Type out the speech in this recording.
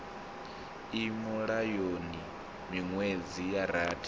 i mulayoni miṅwedzi ya rathi